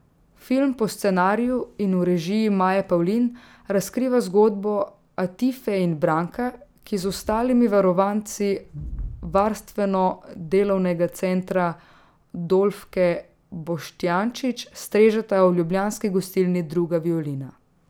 Film po scenariju in v režiji Maje Pavlin razkriva zgodbo Atife in Branka, ki z ostalimi varovanci Varstveno delovnega centra Dolfke Boštjančič strežeta v ljubljanski gostilni Druga violina.